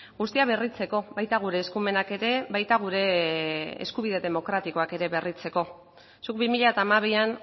guztia berritzeko baita gure eskumenak ere baita gure eskubide demokratikoak ere berritzeko zuk bi mila hamabian